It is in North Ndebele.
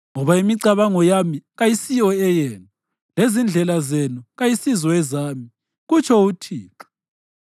“Ngoba imicabango yami kayisiyo eyenu, lezindlela zenu kayisizo ezami,” kutsho uThixo.